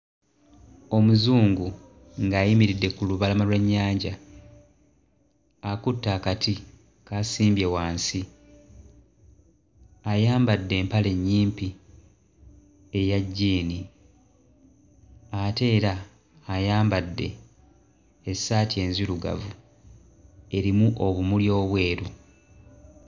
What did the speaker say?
Omuzungu ng'ayimiridde ku lubalama lw'ennyanja akutte akati k'asimbye wansi. Ayambadde empale nnyimpi eya jjiini, ate era ayambadde essaati enzirugavu erimu obumuli obweru.